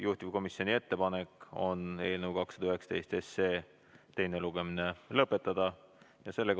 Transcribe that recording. Juhtivkomisjoni ettepanek on eelnõu 219 teine lugemine lõpetada.